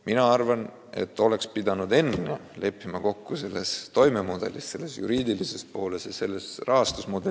Mina arvan, et oleks pidanud kõigepealt leppima kokku selles toimemudelis, asja juriidilises pooles ja ka rahastusmudelis.